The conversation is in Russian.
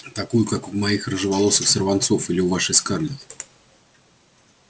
такую как у моих рыжеволосых сорванцов или у вашей скарлетт